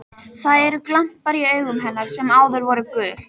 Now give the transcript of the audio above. Það eru glampar í augum hennar sem áður voru gul.